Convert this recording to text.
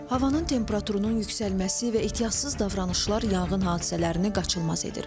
Havanın temperaturunun yüksəlməsi və ehtiyatsız davranışlar yanğın hadisələrini qaçılmaz edir.